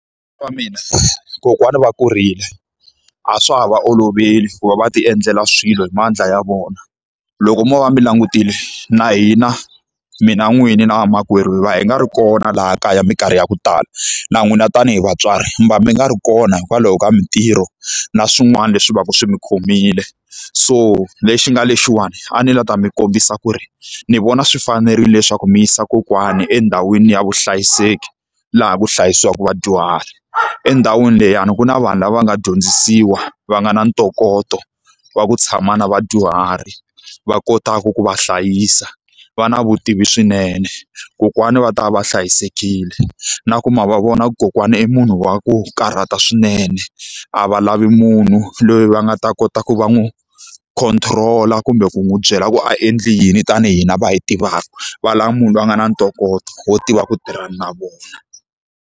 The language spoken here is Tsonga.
mina kokwana va kurile, a swa ha va oloveli ku va va ti endlela swilo hi mandla ya vona. Loko mo va mi langutile, na hina mina n'wini na vamakwerhu hina na va hi nga ri kona laha kaya minkarhi ya ku tala. Na n'wina tanihi vatswari mi va mi nga ri kona hikwalaho ka mintirho na swin'wana leswi va ka swi mi khomile. So lexi nga lexiwani a ni la ta mi kombisa ku ri, ni vona swi fanerile leswaku mi yisa kokwana endhawini ya vuhlayiseki laha ku hlayisiwaka vadyuhari. Endhawini liyani ku na vanhu lava va nga dyondzisiwa va nga na ntokoto wa ku tshama na vadyuhari va kotaka ku va hlayisa, va na vutivi swinene, kokwana va ta va va hlayisekile. Na ku ma va vona kokwana i munhu wa ku karata swinene, a va lavi munhu loyi va nga ta kota ku va n'wi control-a kumbe ku n'wi byela ku a endle yini tanihi hina va hi tivaka, va lava munhu loyi a nga na ntokoto wo tiva ku tirhana na vona.